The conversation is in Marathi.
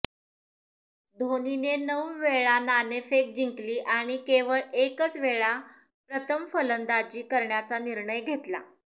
धोनीने नऊ वेळा नाणेफेक जिंकली आणि केवळ एकच वेळा प्रथम फलंदाजी करण्याचा निर्णय घेतला